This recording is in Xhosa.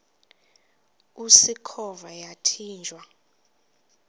usikhova yathinjw a